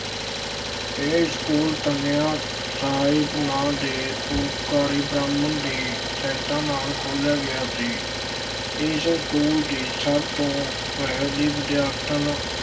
ਇਹ ਸਕੂ਼ਲ ਕੰਨਿਆ ਸਾਹਿਬ ਨਾਂ ਦੇ ਪਰਉਪਕਾਰੀ ਬ੍ਰਾਹਮਣ ਦੀ ਸਹਾਇਤਾ ਨਾਲ ਖੋਲ੍ਹਿਆ ਗਿਆ ਸੀ, ਇਸ ਸਕੂਲ ਦੀ ਸਭ ਤੋਂ ਪਹਿਲੀ ਵਿਦਿਆਰਥਣ